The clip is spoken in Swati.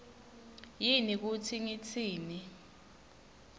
yini kutsi ngitsini